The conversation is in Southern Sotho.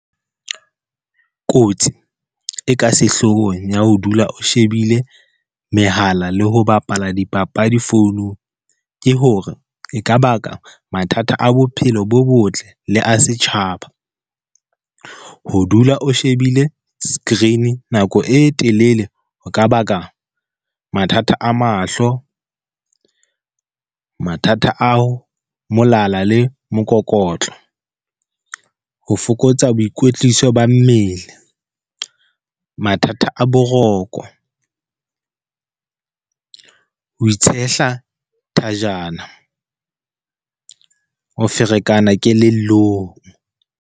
Kotsi e ka sehlohong ya ho dula o shebile mehala le ho bapala dipapadi founung, ke hore e ka baka mathata a bophelo bo botle le a setjhaba. Ho dula o shebile screen nako e telele ho ka baka mathata a mahlo, mathata ao molala le mokokotlo, ho fokotsa boikwetliso ba mmele, mathata a boroko, ho itshehla thajana, ho ferekana kelellong.